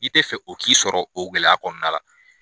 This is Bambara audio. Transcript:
I tɛ fɛ o k'i sɔrɔ o gɛlɛya kɔnɔna la.